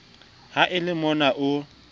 ha e le mona o